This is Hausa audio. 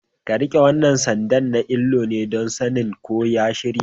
Ka rike wannan sanda na alloli, don sanin ko ka shirya